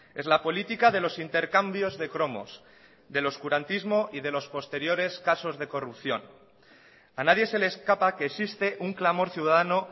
es la política de los intercambios de cromos del oscurantismo y de los posteriores casos de corrupción a nadie se le escapa que existe un clamor ciudadano